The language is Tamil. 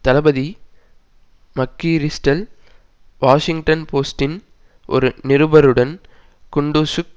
தளபதி மக்கிரிஸ்டல் வாஷிங்டன் போஸ்ட்டின் ஒரு நிருபருடன் குண்டுஸுக்கு